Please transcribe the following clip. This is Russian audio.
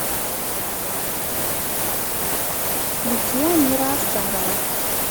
включи амира аскарова